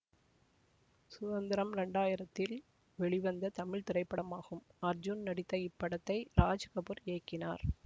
சுதந்திரம் இரண்டு ஆயிரதில் வெளிவந்த தமிழ் திரைப்படமாகும் அர்ஜூன் நடித்த இப்படத்தை ராஜ்கபூர் இயக்கினார்